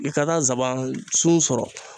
I ka taa nsaban sun sɔrɔ.